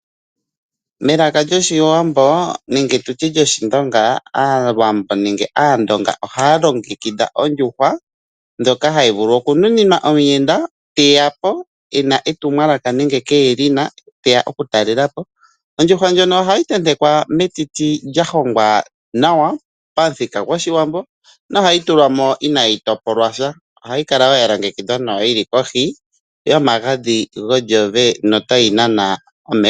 Melaka lyoshiwambo aawambo ohalongekidha ondjuhwa ndjoka hayi vulu oku temenwa omuyenda teya po ena etumwalaka nenge kenasha teya okutalela po .Ondjuhwa ndjoka ohayi tetekwa metiti lyahongwa nawa pamuthika goshiwambo nohayi tulwa mo inayi topolwa sha. Ohayi kala woo yalongekidhwa nawa yili kohi yomagadhi gongongo notayi nana omeho.